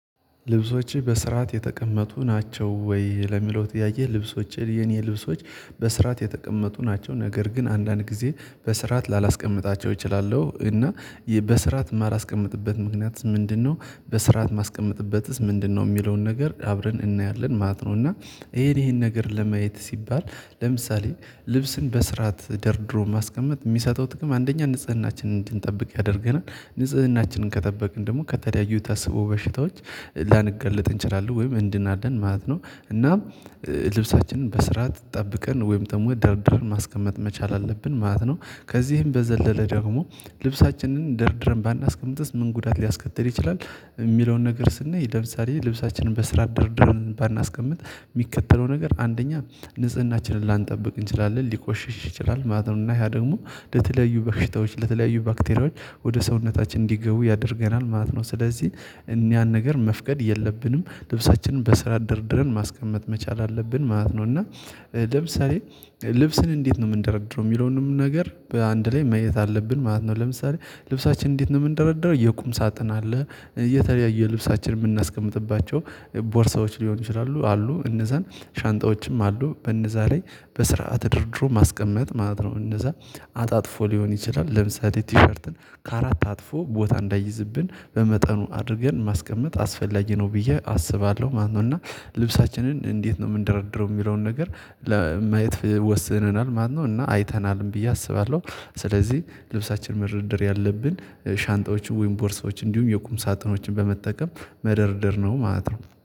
ልብሶችህ በስርዓት የተቀመጡ ናቸው ወይ? ለሚለው ጥያቄ ልብሶቼ የኔ ልብሶች በስርዓት የተቀመጡ ናቸው። ነገር ግን አንዳንድ ጊዜ በስርዓት ላላስቀምጣቸው እችላለው እና በስርዓት የማላስቀምጥበት ምክንያት ምንድነው በስርዓት ማስቀመጥበትስ ምንድነው የሚለውን ነገር አብረን እናያለን ማለት ነው። እና ይሄን ይሄን ነገር ለማየት ሲባል ለምሳሌ ልብስን በስርዓት ደርድሮ ማስቀመጥ ሚሰጠው ጥቅም አንደኛ ንጽህናችንን እንድንጠብቅ ያደርገናል ንጽህናችንን ከጠበቅን ደሞ ከተለያዩ ታስቦ በሽታዎች ላንጋለጥ እንችላለን ወይም እንድናለን ማለት ነው። እና ልብሳችንን በስርዓት ጠብቀን ወይም ደሞ ደርድረን ማስቀመጥ መቻል አለብን ማለት ነው። ከዚህም በዘለለ ደግሞ ልብሳችንን ደርድረን ባናስቀምጥስ ምን ጉዳት ሊያስከትል ይችላል? የሚለውን ነገር ስናይ ይደርሳል ልብሳችንን በስራ ድርድረን ባናስቀምጥ ሚከተለው ነገር አንደኛ ንጽህናችንን ላንጠብቅ እንችላለን ሊቆሽሽ ይችላል ማለት ነው። እና ያ ደግሞ ለተለያዩ በሽታዎች ለተለያዩ ባክቴሪያዎች ወደ ሰውነታችን እንዲገቡ ያደርገናል ማለት ነው። ስለዚህ ያን ነገር መፍቀድ የለብንም ልብሳችንን በስራ ደርድረን ማስቀመጥ መቻል አለብን ማለት ነው። እና ለምሳሌ ልብስን እንዴት ነው እምንደረድረው የሚለውንም ነገር በአንድ ላይ ማየት አለብን ማለት ነው። ለምሳሌ ልብሳችን እንዴት ነው የምንደረደረው የቁም ሳጥን አለ የተለያየ ልብሳችን እምናስቀምጥባቸው ቦርሳዎች ሊኖሩ ይችላሉ አሉ እነዛን ሻንጣዎችም አሉ በነዛ ላይ በስርዓት ተደርድሮ ማስቀመጥ ማለት ነው። እነዛ አጣጥፎ ሊሆን ይችላል ለምሳሌ ቲሸርትን ከአራት አጥፎ ቦታ እንዳይዝብን በመጠኑ አድርገን ማስቀመጥ አስፈላጊ ነው ብዬ አስባለሁ ማለት ነው። እና ልብሳችንን እንዴት ነው እምንደረድረው የሚለውን ነገር ለማየት ወስነናል ማለት ነው። እና አይተናልም ብዬ አስባለው ስለዚህ ልብሳችን መደርደር ያለብን ሻንጣዎቹ ወይም ቦርሶችን እንዲሁም የቁም ሳጥኖችን በመጠቀም መደርደር ነው ማለት ነው